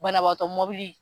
Banabagatɔ mobili